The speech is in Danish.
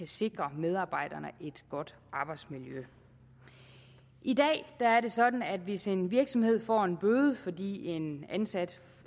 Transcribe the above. sikre medarbejderne et godt arbejdsmiljø i dag er det sådan at hvis en virksomhed får en bøde fordi en ansat